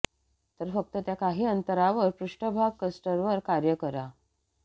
तर फक्त त्या काही अंतरावर पृष्ठभाग क्रस्टवर कार्य करा